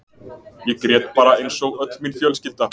Ég grét bara eins og öll mín fjölskylda.